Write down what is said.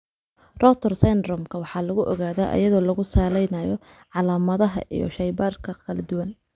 Rotor syndrome-ka waxaa lagu ogaadaa iyadoo lagu salaynayo calaamadaha iyo shaybaadhka kala duwan.